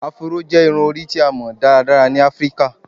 Afro jẹ irun-ori ti a mọ daradara ni Afirika